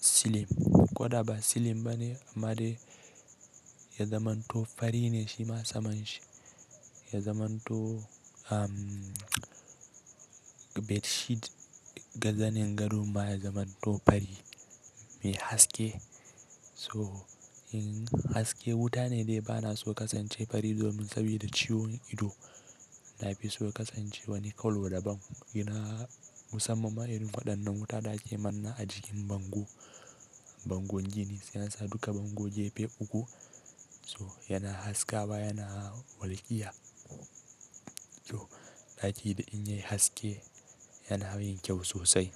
slim ko da ba slim bane, amadai ya zamanto fari ne shima saman shi ya zamanto, ammm, bedsheet ga zanin gadon ma ya zamanto fari mai haske. So in haske wuta ne dai bana so kasance fari domin sabida ciwon ido. Na fi so kasance wani kallo daban. Ina musamman ma irin faɗadden wuta da ake manna a jikin bango. Bango gini sai a sa duka bango Jefe uku. So yana haska ba yana walƙiya. To ɗaki da in yayi haske yana yin kyau sosai.